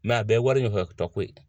Mɛ a bɛɛ ye wari ɲɔfɛto ko ye.